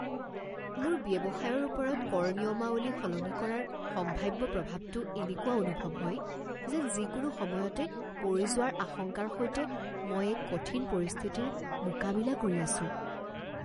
মোৰ ব্যৱসায়ৰ ওপৰত কৰ নিয়মাৱলী সলনি কৰাৰ সম্ভাৱ্য প্ৰভাৱটো এনেকুৱা অনুভৱ হয় যেন যিকোনো সময়তে পৰি যোৱাৰ আশংকাৰ সৈতে মই এক কঠিন পৰিস্থিতিৰ মোকাবিলা কৰি আছোঁ।